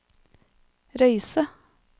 Røyse